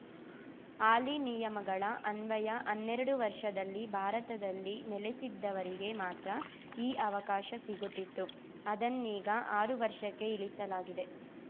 ಹಾಲಿ ನಿಯಮಗಳ ಅನ್ವಯ ಹನ್ನೆರಡು ವರ್ಷದಲ್ಲಿ ಭಾರತದಲ್ಲಿ ನೆಲೆಸಿದ್ದವರಿಗೆ ಮಾತ್ರ ಈ ಅವಕಾಶ ಸಿಗುತ್ತಿತ್ತು ಅದನ್ನೀಗ ಆರು ವರ್ಷಕ್ಕೆ ಇಳಿಸಲಾಗಿದೆ